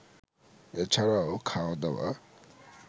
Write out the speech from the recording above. এছাড়াও, খাওয়া দাওয়া